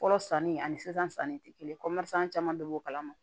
Fɔlɔ sanni ani sisan sanni tɛ kelen ye caman bɛ bɔ o kalama